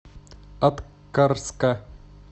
аткарска